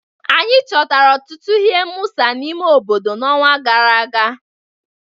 Anyị chọtara ọtụtụ ihe mwụsa n'ime obodo n'ọnwa gara aga